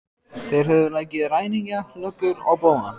Þeir höfðu leikið ræningja, löggur og bófa.